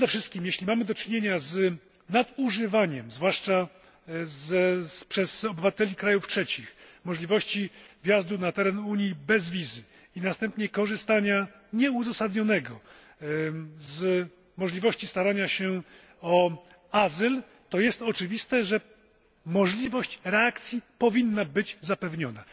Przede wszystkim, jeśli mamy do czynienia z nadużywaniem, zwłaszcza przez obywateli krajów trzecich, możliwości wjazdu na teren Unii bez wizy i następnie nieuzasadnionego korzystania z możliwości starania się o azyl, to jest oczywiste, że możliwość reakcji powinna być zapewniona.